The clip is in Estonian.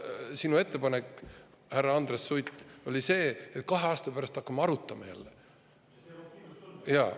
Aga praegu sinu ettepanek, härra Andres Sutt, oli see, et kahe aasta pärast hakkame jälle arutama.